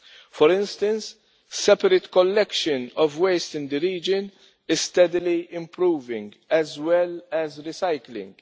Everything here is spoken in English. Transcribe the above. For instance, separate collection of waste in the region is steadily improving, as well as recycling.